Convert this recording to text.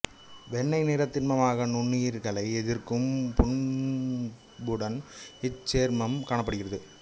வெண்மை நிறத் திண்மமாக நுண்ணுயிர்களை எதிர்க்கும் பண்புடன் இச்சேர்மம் காணப்படுகிறது